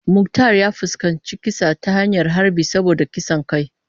Muktar ya fuskanci kisa ta hanyar harbi saboda kisan kai.